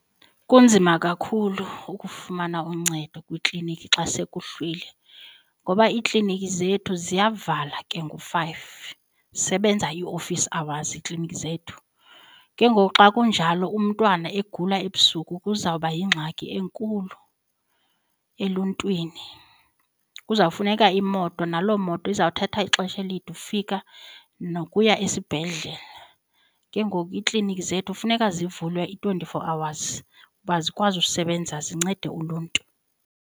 Kunzima kakhulu ukufumana uncedo kwiikliniki xa sekuhlwile ngoba iiklinikhi zethu ziyavala ke ngo-five sebenza iofisi hours iiklinikhi zethu. Ke ngoku xa kunjalo umntwana egula ebusuku kuzawuba yingxaki enkulu eluntwini, kuzawufuneka imoto. Naloo moto izawuthatha ixesha elide ufika nokuya esibhedlele. Ke ngoku iiklinikhi zethu funeka zivulwe i-twenty-four hours uba zikwazi usebenza zincede uluntu.